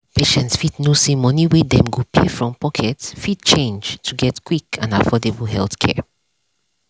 patients fit know say money wey dem go pay from pocket fit change to get quick and affordable healthcare.